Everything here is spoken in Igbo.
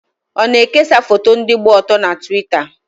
Ọ na-ekesa foto ndị gba ọtọ na Twita?